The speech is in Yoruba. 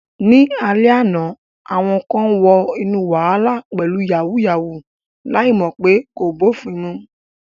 Ní alẹ́ àná, àwọn kan wọ inú wàhálà pẹ̀lú "yàwúyáwù ," láì mọ̀ pé kò bófin mu.